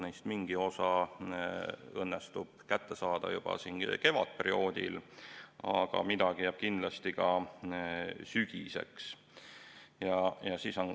Neist mingi osa õnnestub kätte saada juba kevadperioodil, aga midagi jääb kindlasti ka sügiseks.